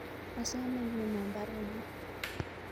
Asome igonon baruonokyuk